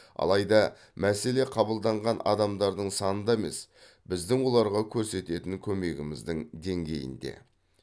алайда мәселе қабылданған адамдардың санында емес біздің оларға көрсететін көмегіміздің деңгейінде